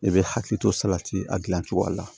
I bɛ hakili to salati a dilancogoya la